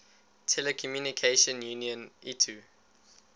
telecommunication union itu